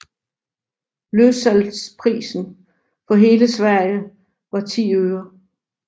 Løssalgprisen for hele Sverige var 10 øre